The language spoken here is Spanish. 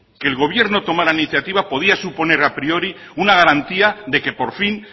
que el gobierno tomara la iniciativa podía suponer a priori una garantía de que por fin